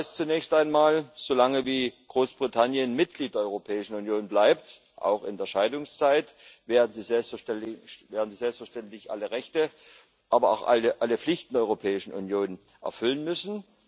Das heißt zunächst einmal So lange, wie Großbritannien Mitglied der Europäischen Union bleibt auch in der Scheidungszeit werden sie selbstverständlich alle Rechte haben, aber auch alle Pflichten der Europäischen Union erfüllen müssen.